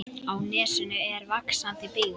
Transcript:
Á nesinu er vaxandi byggð.